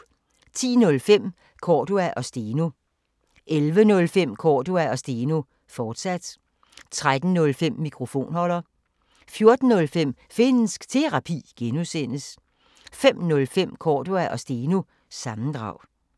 10:05: Cordua & Steno 11:05: Cordua & Steno, fortsat 13:05: Mikrofonholder 14:05: Finnsk Terapi (G) 05:05: Cordua & Steno – sammendrag